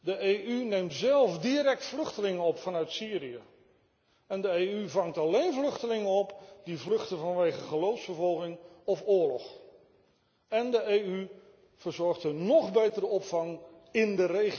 De EU neemt zelf direct vluchtelingen op vanuit Syrië en de EU vangt alleen vluchtelingen op die vluchten vanwege geloofsvervolging of oorlog. En de EU verzorgt een nog betere opvang in